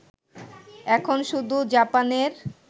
এখন শুধু জাপানের